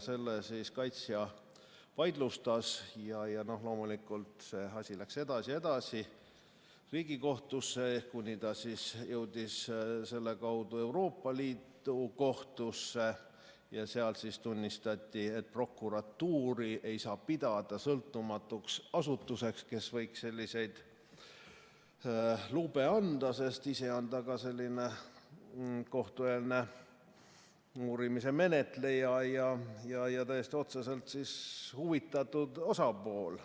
Selle kaitsja vaidlustas ja loomulikult läks see asi edasi Riigikohtusse, kuni jõudis selle kaudu Euroopa Liidu Kohtusse ja seal siis tunnistati, et prokuratuuri ei saa pidada sõltumatuks asutuseks, kes võiks selliseid lube anda, sest ta ise on kohtueelse uurimise menetleja ja täiesti otseselt huvitatud osapool.